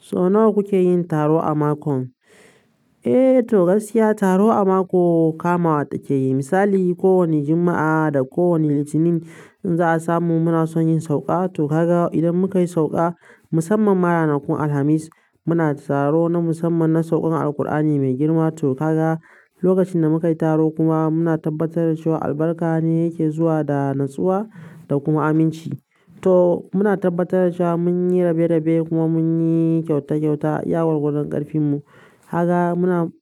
So nawa kuke yin taro a mako? Eh to gaskiya taro a mako kamawa take yi. Misali kowane Juma'a da kowane Litinin in za a samu muna son yin sauƙa. To kaga idan muka yi sauƙa musamman ranakun Alhamis muna taro na musamman na saukan Alqur'ani mai girma. To haka lokacin da muka yi taro kuma muna tabbatar da cewa albarka ne yake zuwa da natsuwa da kuma aminci. To muna tabbatar da cewa mun yi rabe-rabe kuma mun yi kyauta-kyauta iya gwargwadon ƙarfin mu. Haka muna